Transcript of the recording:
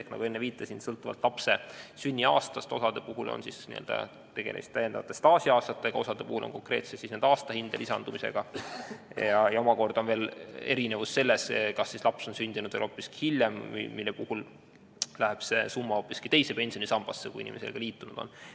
Ehk nagu ma enne viitasin, sõltuvalt lapse sünniaastast on osa puhul tegemist täiendavate staažiaastatega, osa puhul konkreetselt aastahinde lisandumisega ning omakorda on erinevus selles, kas laps on sündinud veel hiljem, sest sel juhul läheb see summa hoopis teise pensionisambasse, kui inimene sellega liitunud on.